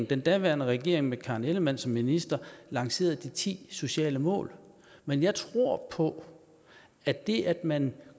den daværende regering med karen ellemann som minister lancerede de ti sociale mål men jeg tror på at det at man